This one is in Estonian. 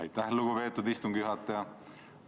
Aitäh, lugupeetud istungi juhataja!